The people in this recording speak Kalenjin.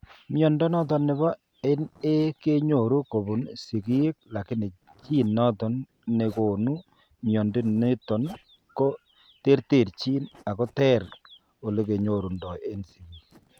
Mnyondo noton nebo NA kenyoru kobun sigiik lakini gene noton negonu mnyondo niton ko terterchin ako terter olekenyorundo en sigiik